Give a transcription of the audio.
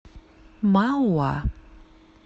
мауа